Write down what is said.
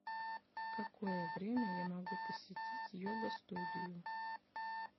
в какое время я могу посетить йога студию